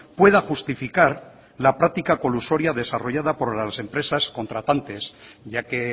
pueda justificar la práctica colusoria desarrollada por las empresas contratantes ya que